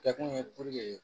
Kɛkun ye